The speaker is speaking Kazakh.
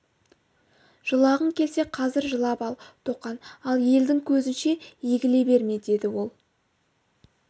жылағың келсе қазір жылап ал тоқан ал елдің көзінше егіле берме деді ол